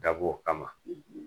Dab'o kama